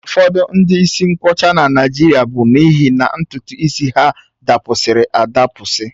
Ụfọdụ ndị isi nkwọcha na Naịjirịa bụ n'ihi na ntutu isi ha dapụsiri adapụsi